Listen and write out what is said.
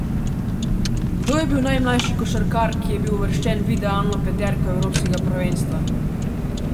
Kdo je bil najmlajši košarkar, ki je bil uvrščen v idealno peterko evropskega prvenstva?